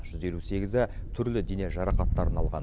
жүз елу сегізі түрлі дене жарақаттарын алған